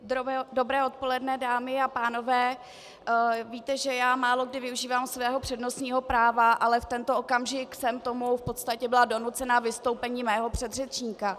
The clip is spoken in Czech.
Dobré odpoledne, dámy a pánové, víte, že já málokdy využívám svého přednostního práva, ale v tento okamžik jsem k tomu v podstatě byla donucena vystoupením mého předřečníka.